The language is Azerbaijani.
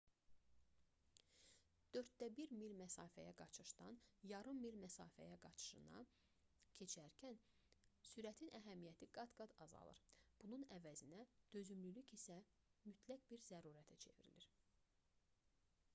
dörddə bir mil məsafəyə qaçışdan yarım mil məsafə qaçışına keçərkən sürətin əhəmiyyəti qat-qat azalır bunun əvəzinə dözümlülük isə mütləq bir zərurətə çevrilir